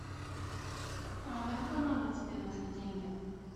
а на какой номер тебе нужны деньги